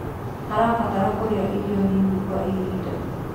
harabatara kũrĩa irio nini kwa ihinda